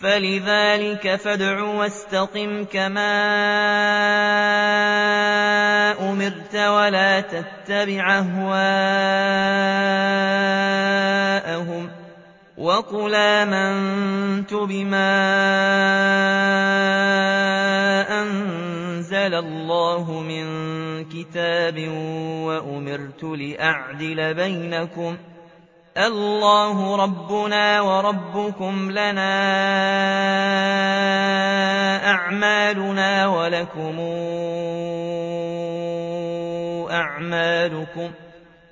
فَلِذَٰلِكَ فَادْعُ ۖ وَاسْتَقِمْ كَمَا أُمِرْتَ ۖ وَلَا تَتَّبِعْ أَهْوَاءَهُمْ ۖ وَقُلْ آمَنتُ بِمَا أَنزَلَ اللَّهُ مِن كِتَابٍ ۖ وَأُمِرْتُ لِأَعْدِلَ بَيْنَكُمُ ۖ اللَّهُ رَبُّنَا وَرَبُّكُمْ ۖ لَنَا أَعْمَالُنَا وَلَكُمْ أَعْمَالُكُمْ ۖ